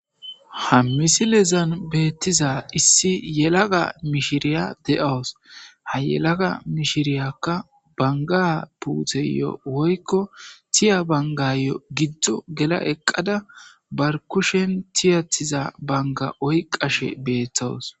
Ha misilezan beettiza issi yelaga mishiriya de7owos ha yelaga mishiriyakka banga puutheyo woykko tiya bangayo giddo gela eqqada barkushen tiyathiza banga oy qashe beethtowos